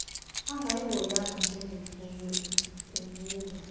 angayihoyanga njengemfuyo ubuya